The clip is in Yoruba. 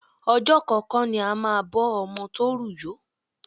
Ọjọ́ kan kọ́ ni a máa bọ́ ọmọ tó rù yó.